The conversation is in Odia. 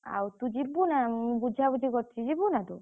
ଆଉ ତୁ ଯିବୁନା ମୁଁ ବୁଝାବୁଝି କରିଛି ଯିବୁନା ତୁ?